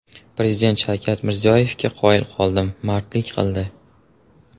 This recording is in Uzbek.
Prezident Shavkat Mirziyoyevga qoyil qoldim, mardlik qildi.